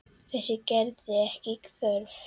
Þess gerðist ekki þörf.